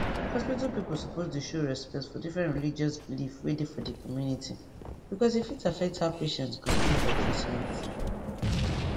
hospital people suppose dey show respect for different religious belief wey dey for di community because e fit affect how patient go gree for treatment